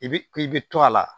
I bi i bi to a la